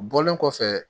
Bɔlen kɔfɛ